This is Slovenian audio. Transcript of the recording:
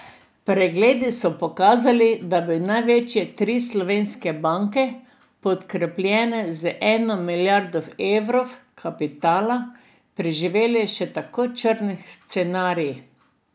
Pregledi so pokazali, da bi največje tri slovenske banke, podkrepljene že z eno milijardo evrov kapitala, preživele še tako črn scenarij.